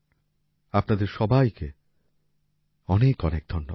আপনাদের সবাইকে অনেক অনেক ধন্যবাদ